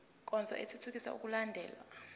nkonzo ithuthukisa ukulandelwa